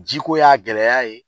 Ji ko y'a gɛlɛya ye